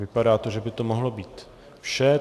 Vypadá to, že by to mohlo být vše.